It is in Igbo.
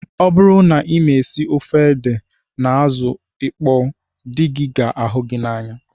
Ọ bụrụ na ị ma esi ofe ede na azụ ịkpọ dị gị ga ahụ gị n'anya